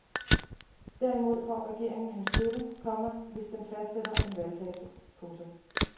Derimod får regeringen hans støtte, komma hvis den fastsætter en valgdato. punktum